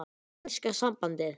Enska sambandið?